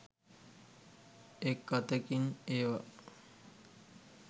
එක් අතකින් ඒවා